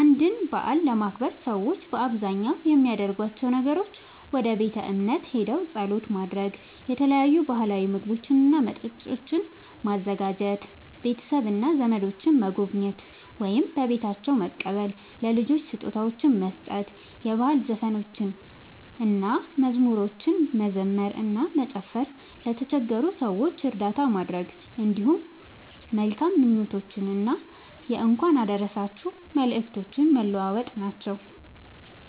አንድን በዓል ለማክበር ሰዎች በአብዛኛው የሚያደርጓቸው ነገሮች፦ ወደ ቤተ እምነት ሄደው ጸሎት ማድረግ፣ የተለያዩ ባህላዊ ምግቦችና መጠጦችን ማዘጋጀ፣ ቤተሰብና ዘመዶችን መጎብኘት ወይም በቤታቸው መቀበል፣ ለልጆች ስጦታዎችን መስጠት፣ የባህል ዘፈኖችንና መዝሙሮችን መዘመር እና መጨፈር፣ ለተቸገሩ ሰዎች እርዳታ ማድረግ፣ እንዲሁም መልካም ምኞቶችንና የእንኳን አደረሳችሁ መልእክቶችን መለዋወጥ ናቸዉ።